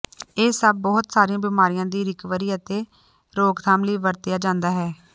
ਇਹ ਸਭ ਬਹੁਤ ਸਾਰੀਆਂ ਬਿਮਾਰੀਆਂ ਦੀ ਰਿਕਵਰੀ ਅਤੇ ਰੋਕਥਾਮ ਲਈ ਵਰਤਿਆ ਜਾਂਦਾ ਹੈ